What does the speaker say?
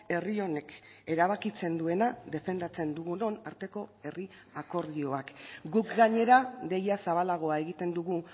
herri honek erabakitzen duena defendatzen dugunon arteko herri akordioak guk gainera deia zabalagoa egiten dugu